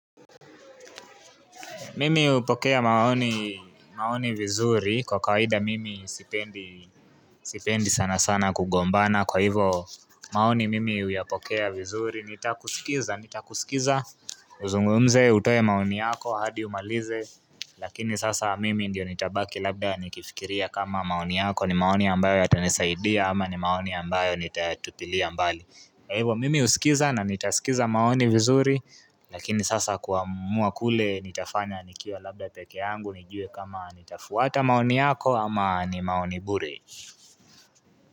Mimi hupokea maoni vizuri kwa kawaida mimi sipendi sana sana kugombana kwa hivyo maoni mimi huyapokea vizuri Nitakusikiza uzungumze utoe maoni yako hadi umalize lakini sasa mimi ndiye nitabaki labda nikifikiria kama maoni yako ni maoni ambayo yatanisaidia ama ni maoni ambayo nitatupilia mbali kwa hivyo mimi husikiza na nitasikiza maoni vizuri lakini sasa kuamua kule nitafanya nikiwa labda peke yangu nijue kama nitafuata maoni yako ama ni maoni bure.